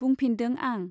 बुंफिनदों आं।